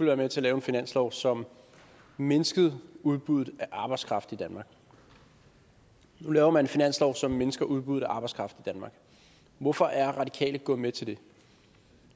være med til lave en finanslov som mindskede udbuddet af arbejdskraft i danmark nu laver man en finanslov som mindsker udbuddet af arbejdskraft i danmark hvorfor er radikale gået med til det